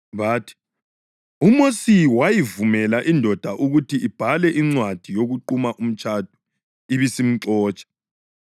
Bathi, “UMosi wayivumela indoda ukuthi ibhale incwadi yokuquma umtshado ibisimxotsha.”